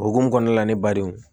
O hukumu kɔnɔna la ne ba denw